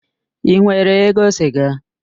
Ị nwere ego siga?